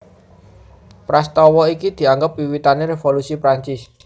Prastawa iki dianggep wiwitané Révolusi Prancis